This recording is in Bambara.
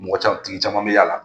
Mɔgɔ ca tigi caman bɛ y'a la.